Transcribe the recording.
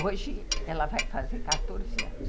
Hoje ela vai fazer quatorze anos aqui.